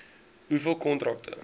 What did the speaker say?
hoeveel kontrakte